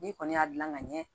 N'i kɔni y'a gilan ka ɲɛ